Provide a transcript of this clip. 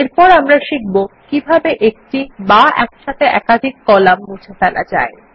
এরপর আমরা শিখব কিভাবে এক বা একসাথে একাধিক কলাম মুছে ফেলা যায়